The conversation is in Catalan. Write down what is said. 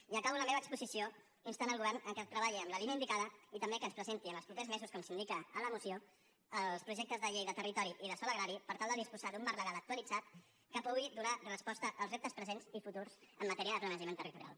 i acabo la meva exposició instant el govern perquè treballi en la línia indicada i també perquè ens presenti en els propers mesos com s’indica en la moció els projectes de llei de territori i de sòl agrari per tal de disposar d’un marc legal actualitzat que pugui donar resposta als reptes presents i futurs en matèria de planejament territorial